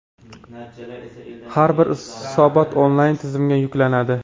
Har bir hisobot onlayn tizimga yuklanadi.